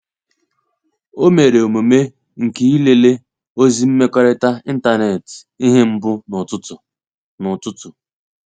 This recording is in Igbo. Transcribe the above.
O mere omume nke ilele ozi mmekọrịta ịntanetị ihe mbu n’ụtụtụ. n’ụtụtụ.